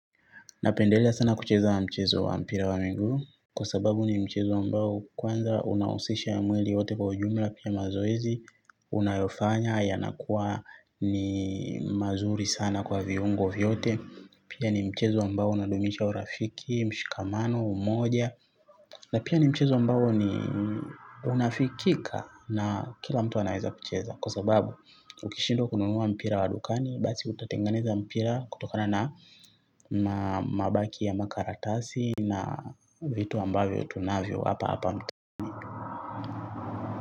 Napendelea sana kucheza wa mchezo wa mpira wa miguu kwa sababu ni mchezo mbao kwanza unahusisha ya mwili yote kwa ujumla pia mazoezi. Unayofanya yanakuwa ni mazuri sana kwa viungo vyote. Pia ni mchezo ambao unadumisha urafiki, mshikamano, umoja. Na pia ni mchezo ambao ni unafikika na kila mtu anaeza kucheza kwa sababu ukishindwa kununua mpira wa dukani basi utatengeneza mpira kutokana na mabaki ya makaratasi na vitu ambavyo tunavyo hapa hapa mtaani.